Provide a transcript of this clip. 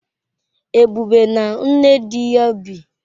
Ebube na nne di ya bi.